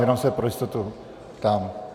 Jenom se pro jistotu ptám.